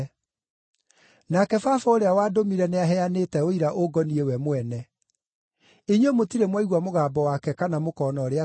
Nake Baba ũrĩa wandũmire nĩaheanĩte ũira ũngoniĩ we mwene. Inyuĩ mũtirĩ mwaigua mũgambo wake kana mũkona ũrĩa atariĩ,